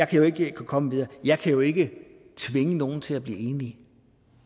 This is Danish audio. kan komme videre jeg kan jo ikke tvinge nogen til at blive enige